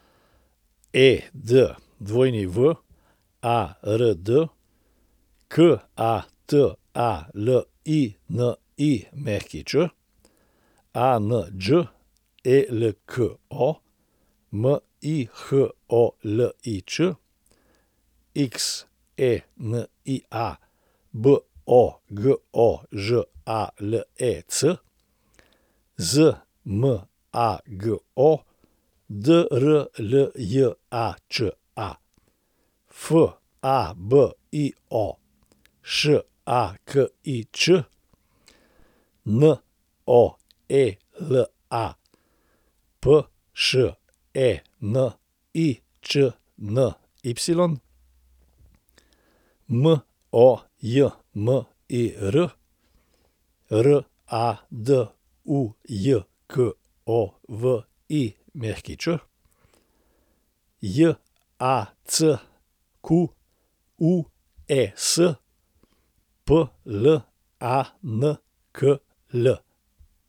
Edward Katalinić, Anđelko Miholič, Xenia Bogožalec, Zmago Drljača, Fabio Šakič, Noela Pšeničny, Mojmir Radujković, Jacques Plankl.